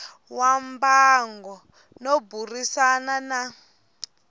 wa mbango no burisana na